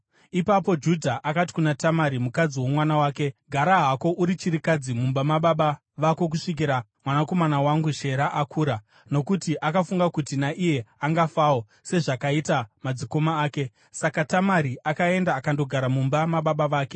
Ipapo Judha akati kuna Tamari mukadzi womwana wake, “Gara hako uri chirikadzi mumba mababa vako kusvikira mwanakomana wangu Shera akura.” Nokuti akafunga kuti, “Naiye angafawo, sezvakaita madzikoma ake.” Saka Tamari akaenda akandogara mumba mababa vake.